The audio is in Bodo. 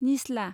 निस्ला